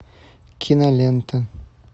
кинолента